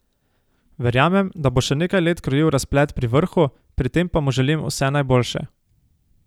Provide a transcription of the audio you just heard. Verjamem, da bo še nekaj let krojil razplet pri vrhu, pri tem pa mu želim vse najboljše.